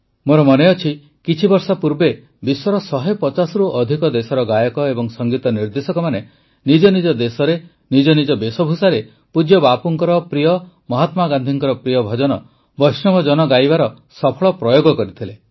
ମୋର ମନେଅଛି କିଛିବର୍ଷ ପୂର୍ବେ ବିଶ୍ୱର ୧୫୦ରୁ ଅଧିକ ଦେଶର ଗାୟକ ଏବଂ ସଙ୍ଗୀତ ନିର୍ଦେଶକମାନେ ନିଜ ନିଜ ଦେଶରେ ନିଜ ନିଜ ବେଶଭୂଷାରେ ପୂଜ୍ୟ ବାପୁଙ୍କ ପ୍ରିୟ ମହାତ୍ମାଗାନ୍ଧୀଙ୍କ ପ୍ରିୟ ଭଜନ ବୈଷ୍ଣବ ଜନ ଗାଇବାର ସଫଳ ପ୍ରୟୋଗ କରିଥିଲେ